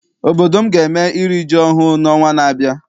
Obodo m ga eme iri ji ọhụụ n'ọnwa na-abịa.